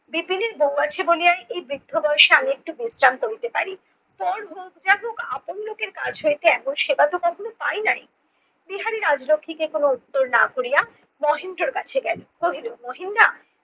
বিপিনের বউ আছে বলিয়াই এই বৃদ্ধ বয়সে আমি একটু বিশ্রাম করিতে পারি। পর হোক যা হোক আপন লোকের কাছ হইতে এমন সেবা তো কখনো পাই নাই, বিহারি রাজলক্ষীকে কোনো উত্তর না করিয়া মহেন্দ্রর কাছে গেলো কহিলো মহিন দা